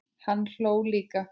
Hann hló líka.